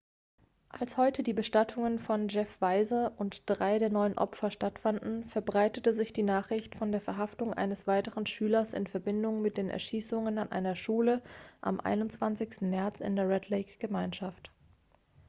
als heute die bestattungen von jeff weise und drei der neun opfer stattfanden verbreitete sich die nachricht von der verhaftung eines weiteren schülers in verbindung mit den erschießungen an einer schule am 21. märz in der red-lake-gemeinschaft